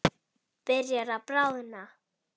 Byrjar að bráðna.